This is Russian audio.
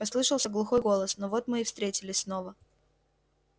послышался глухой голос ну вот мы и встретились снова